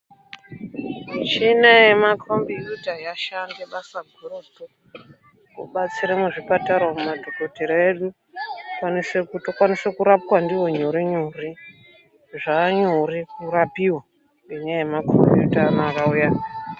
Muchina yemakombiyuta yashanda basa gurutu, kubatsira muzvipatara umu madhokodhera edu tokwanisa kurapwa ndiwo nyorenyore zvaanyore kurapiwa ngendaa yemakombiyuta anaya akauya